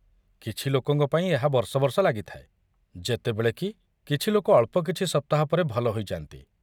କିଛି ଲୋକଙ୍କ ପାଇଁ ଏହା ବର୍ଷ ବର୍ଷ ଲାଗିଥାଏ, ଯେତେବେଳେ କି କିଛି ଲୋକ ଅଳ୍ପ କିଛି ସପ୍ତାହ ପରେ ଭଲ ହୋଇଯା'ନ୍ତି।